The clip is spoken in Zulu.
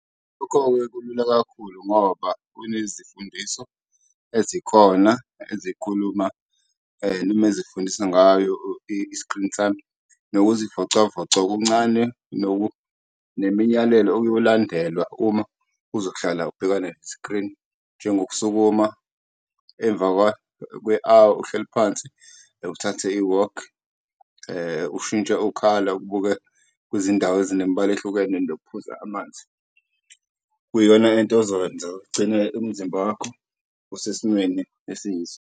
Lokho-ke kulula kakhulu ngoba nezifundiso ezikhona ezikhuluma noma ezifundisa ngayo i-screen time nokuzivocavoca okuncane nemiyalelo okuyolandelwa uma uzohlala ubhekane nesikrini njengokusukuma emva kwe-awa uhleli phansi. Uthathe iwokhi , ushintshe ukhala ubuke kwizindawo ezinemibala ehlukene nokuphuza amanzi, kuyona into ozowenza ugcine umzimba wakho usesimweni esiyiso.